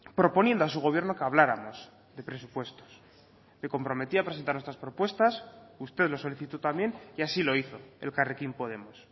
proponiendo a su gobierno que habláramos de presupuestos me comprometí a presentar nuestras propuestas usted lo solicitó también y así lo hizo elkarrekin podemos